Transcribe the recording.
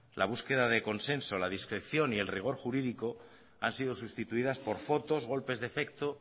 la búsqueda de consenso la discreción y el rigor jurídico han sido sustituidas por fotos golpes de efecto